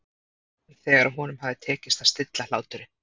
spurði hann þegar honum hafði tekist að stilla hláturinn.